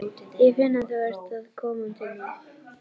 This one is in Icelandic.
Ég finn að þú ert að koma til mín.